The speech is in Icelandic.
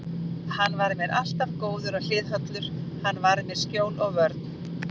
Hann var mér alltaf góður og hliðhollur, hann var mér skjól og vörn.